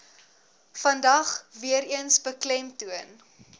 vandag weereens beklemtoon